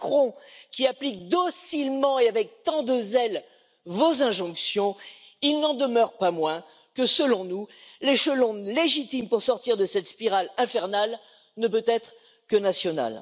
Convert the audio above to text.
Macron, qui applique docilement et avec tant de zèle vos injonctions, il n'en demeure pas moins que selon nous, l'échelon légitime pour sortir de cette spirale infernale ne peut être que national.